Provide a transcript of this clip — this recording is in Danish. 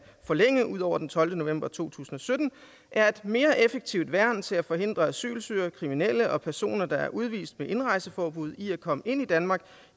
forlænge ud over den tolvte november to tusind og sytten er et mere effektivt værn til at forhindre asylsøgere kriminelle og personer der er udvist med indrejseforbud i at komme ind i danmark